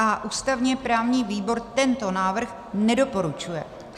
A ústavně-právní výbor tento návrh nedoporučuje.